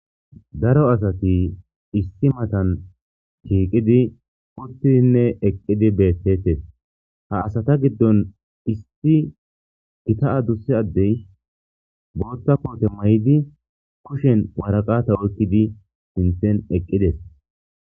Daro asati issi matani utidinne shiqidi eqidi bettetes ha asata giddon Issi adusa adey boththa koote mayidi kushshen waraqata oykidi sinththen eqides